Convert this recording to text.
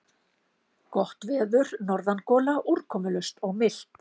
Gott veður, norðangola, úrkomulaust og milt.